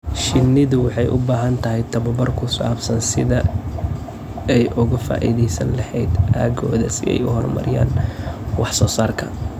Shinnidu waxay u baahan tahay tabobar ku saabsan sida ay uga faa'iidaysan lahayd aaggooda si ay u horumariyaan wax soo saarka.